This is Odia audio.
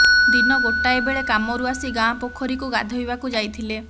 ଦିନ ଗୋଟାଏ ବେଳେ କାମରୁ ଆସି ଗାଁ ପୋଖରୀକୁ ଗାଧୋଇବାକୁ ଯାଇଥିଲେ